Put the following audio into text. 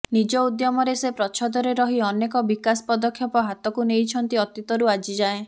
ନିଜ ଉଦ୍ୟମରେ ସେ ପ୍ରଚ୍ଛଦରେ ରହି ଅନେକ ବିକାଶ ପଦକ୍ଷେପ ହାତକୁ ନେଇଛନ୍ତି ଅତୀତରୁ ଆଜି ଯାଏ